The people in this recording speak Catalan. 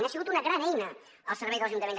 ha sigut una gran eina al servei dels ajuntaments